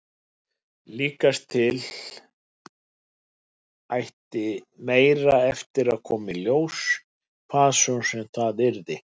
Líkast til ætti meira eftir að koma í ljós, hvað svo sem það yrði.